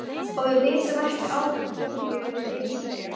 Og við vitum ekki á hverju við eigum að byrja.